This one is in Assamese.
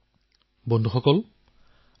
আৰু পৰিণামস্বৰূপে তেওঁ লাভ অৰ্জন কৰি আছে